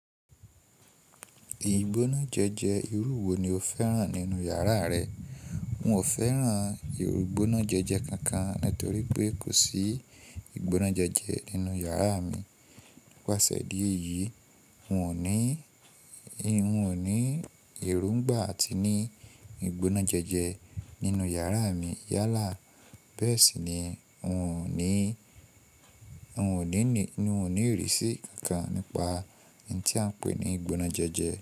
Ìgbónájẹjẹ irú wo ni o fẹ́ràn nínú yàrá rẹ? N ò fẹ́ràn ìgbónájẹjẹ kankan nítorí pé kò sí ìgbónájẹjẹ nínú yàrá mi. Wá sẹ́ díẹ̀ yìí n ò ní, n ò ní èrúgbà àti ní ìgbónájẹjẹ nínú yàrá mi yálà bẹ́ẹ̀ sì ni n ò ní, n ò ní ìrísí kankan nípa ohun tí a ń pè ní ìgbónájẹjẹ.